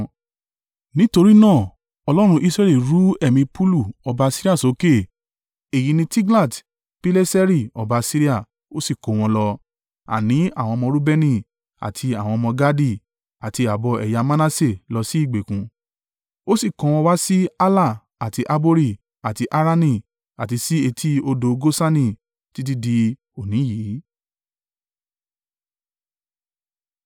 Nítorí náà Ọlọ́run Israẹli ru ẹ̀mí Pulu ọba Asiria sókè (èyí ni Tiglat-Pileseri ọba Asiria), ó si kó wọn lọ, àní àwọn ọmọ Reubeni àti àwọn ọmọ Gadi, àti ààbọ̀ ẹ̀yà Manase lọ sí ìgbèkùn. Ó sì kó wọn wá sí Hala, àti Habori, àti Harani, àti sí etí odò Gosani; títí dí òní yìí.